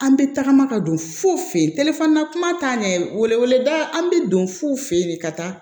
An bɛ tagama ka don fo fe yen kuma t'a ɲɛ wele da an bɛ don fu fɛ yen de ka taa